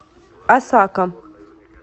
осака